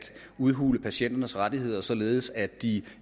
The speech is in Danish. udhule patienternes rettigheder således at de